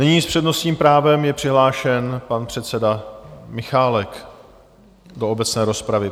Nyní s přednostním právem je přihlášen pan předseda Michálek do obecné rozpravy.